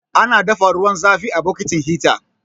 Ana dafa ruwan zafi a bokitin hita.